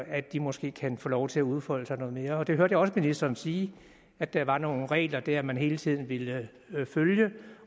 at de måske kan få lov til at udfolde sig noget mere det hørte jeg også ministeren sige at der var nogle regler der man hele tiden ville følge